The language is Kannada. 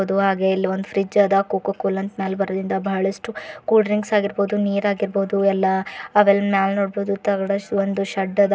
ಅದು ಹಾಗೆ ಇಲ್ ಒಂದು ಫ್ರಿಡ್ಜ್ ಅದ ಕೋಕೋ-ಕೋಲಾ ಅಂತ ಮ್ಯಾಲ್ ಬರ್ದಿಂದ ಬಹಳಷ್ಟು ಕೂಲ್ ಡ್ರಿಂಕ್ಸ್ ಆಗಿರ್ಬಹುದು ನೀರ್ ಆಗಿರ್ಬಹುದು ಎಲ್ಲಾ ಅವೆಲ್ಲ ಮ್ಯಾಲ್ ನೋಡಬಹುದು ತಗಡ ಒಂದು ಶೆಡ್ ಅದ.